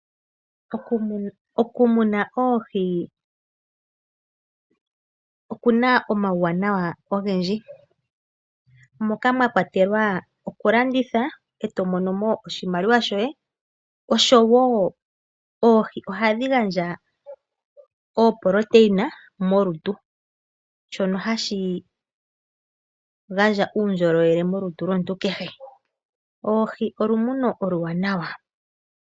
Okumuna oohi okuna omauwanawa ogendji , moka mwakwatelwa okulanditha eto monomo oshimaliwa shoye, oshowo ohadhi gandja iitungithilutu molutu shono hashi gandja uundjolowele molutu lomuntu kehe. Oohi olumuno oluwanawa.